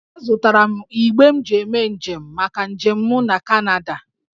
Azụtara m igbe m ji eme njem maka njem m na Kanada